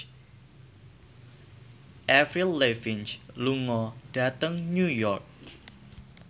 Avril Lavigne lunga dhateng New York